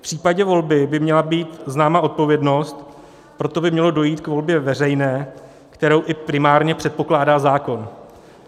V případě volby by měla být známa odpovědnost, proto by mělo dojít k volbě veřejné, kterou i primárně předpokládá zákon.